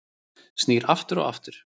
Snýr aftur aftur